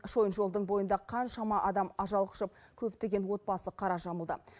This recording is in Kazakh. шойын жолдың бойында қаншама адам ажал құшып көптеген отбасы қара жамылды